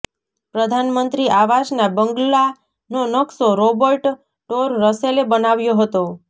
પ્રધાનમંત્રી આવાસના બંગલાનો નકશો રોબર્ટ ટોર રસેલે બનાવ્યો હતો